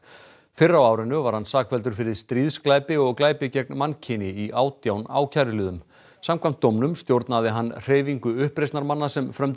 fyrr á árinu var hann sakfelldur fyrir stríðsglæpi og glæpi gegn mannkyni í átján ákæruliðum samkvæmt dómnum stjórnaði hann hreyfingu uppreisnarmanna sem frömdu